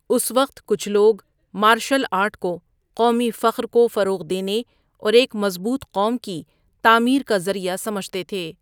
اس وقت، کچھ لوگ مارشل آرٹ کو قومی فخر کو فروغ دینے اور ایک مضبوط قوم کی تعمیر کا ذریعہ سمجھتے تھے۔